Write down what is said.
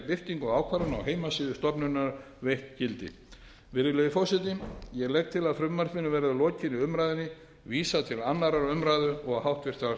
birtingu ákvarðana á heimasíðu stofnunarinnar veitt gildi virðulegi forseti ég legg til að frumvarpinu verði að lokinni umræðunni vísað til annarrar umræðu og háttvirtrar